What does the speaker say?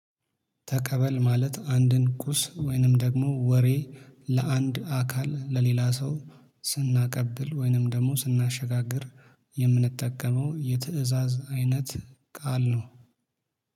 ተቀበል ማለት አንድን ቁስ ወይንም ደግሞ ወሬ ለአንድ አካል ለሌላ ሰው ስናቀብል ወይንም ደግሞ ስናሸጋግር የምንጠቀመው የትእዛዝ አይነት ቃል ነው